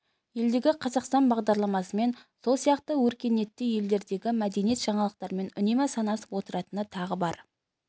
елдегі қазақстан бағдарламасымен сол сияқты өркениетті елдердегі мәдени жаңалықтармен үнемі санасып отыратыны тағы бар